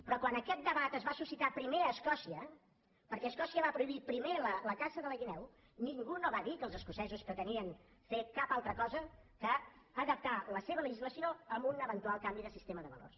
però quan aquest debat es va suscitar primer a escòcia perquè escòcia va prohibir primer la caça de la guineu ningú no va dir que els escocesos pretenien fer cap altra cosa que adaptar la seva legislació a un eventual canvi de sistema de valors